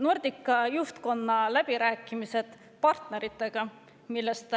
Nordica juhtkonna läbirääkimised partneritega, millest